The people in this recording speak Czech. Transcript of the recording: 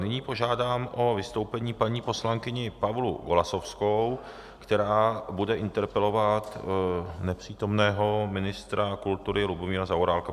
Nyní požádám o vystoupení paní poslankyni Pavlu Golasowskou, která bude interpelovat nepřítomného ministra kultury Lubomíra Zaorálka.